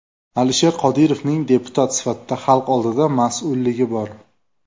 Alisher Qodirovning deputat sifatida xalq oldida mas’ulligi bor.